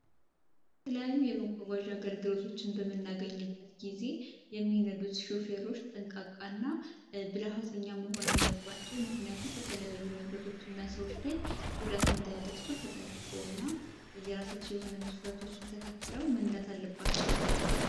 የተለያዩ የመጓጓዣ አገልግሎትን በምንጠቀምበት ጊዜ የሚነዱት ሹፌሮች ጠንቃቃ እና ብልሀትኛ መሆን አለባቸው ምክንያቱም በተለያዩ ሰዎች እና ንብረቶች ላይ ጉዳት እንዳያደርሱ ተጠንቅቀው እና የራሳቸውን መስመር ተከትለው መንዳት አለባቸው።